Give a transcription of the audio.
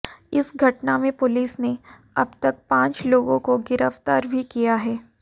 इस घटना में पुलिस ने अब तक पांच लोगों को गिरफ्तार भी किया है